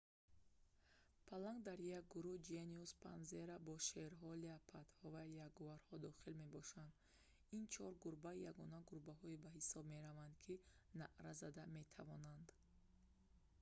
паланг дар як гурӯҳ genus panthera бо шерҳо леопардҳо ва ягуарҳо дохил мебошад. ин чор гурба ягона гурбаҳое ба ҳисоб мераванд ки наъра зада метавонанд